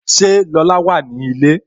Ṣé Lola wà ní ilé?